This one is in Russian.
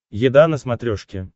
еда на смотрешке